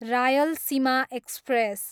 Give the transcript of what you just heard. Rayalaseema express